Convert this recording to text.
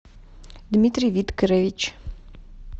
дмитрий викторович